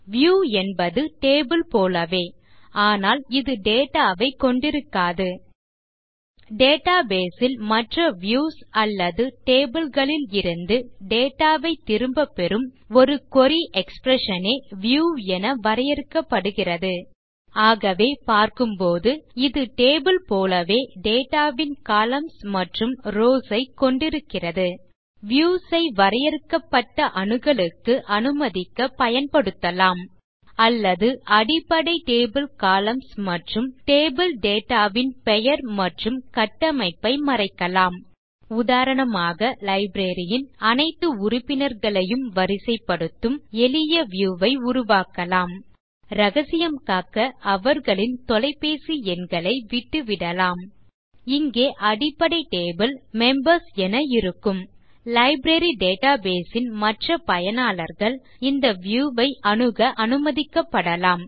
view என்பது table போலவே ஆனால் இது டேட்டா வை கொண்டிருக்காது டேட்டாபேஸ் ல் மற்ற வியூஸ் அல்லது டேபிள் களில் இருந்து டேட்டா ஐ திரும்ப பெறும் ஒரு குரி எக்ஸ்பிரஷன் ஏ வியூ என வரையறுக்கப்படுகிறது ஆகவே பார்க்கும் போது இது டேபிள் போலவே டேட்டா வின் கொலம்ன்ஸ் மற்றும் ரவ்ஸ் ஐ கொண்டிருக்கிறது வியூஸ் ஐ வரையறுக்கப்பட்ட அணுகலுக்கு அனுமதிக்க பயன்படுத்தலாம் அல்லது அடிப்படை டேபிள் கொலம்ன்ஸ் மற்றும் டேபிள் டேட்டா வின் பெயர் மற்றும் கட்டமைப்பை மறைக்கலாம் உதாரணமாக லைப்ரரி ன் அனைத்து உறுப்பினர்களையும் வரிசைப்படுத்தும் எளிய வியூ ஐ உருவாக்கலாம் ரகசியம் காக்க அவர்களின் தொலைபேசி எண்களை விட்டுவிடலாம் இங்கே அடிப்படை டேபிள் மெம்பர்ஸ் என இருக்கும் லைப்ரரி டேட்டாபேஸ் ன் மற்ற பயனாளர்கள் இந்த வியூ ஐ அணுக அனுமதிக்கப்படலாம்